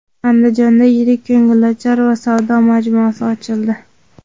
Andijonda yirik ko‘ngilochar va savdo majmuasi ochildi.